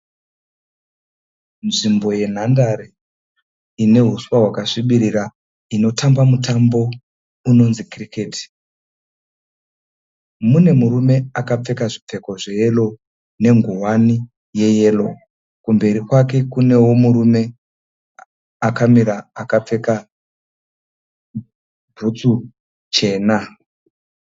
Nzvimbo yenhandare ine huswa hwakasvibirira inotambirwa mutambo unonzi cricket. Mune murume akapfeka zvipfeko zveyero nengowani yeyero. Kumberi kwake kunewo murume akamira akapfeka bhutsu chena.